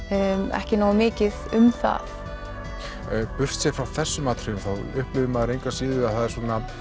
ekki nógu mikið um það frá þessum atriðum þá upplifir maður engu að síður að það er